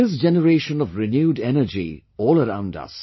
There is generation of renewed energy all around us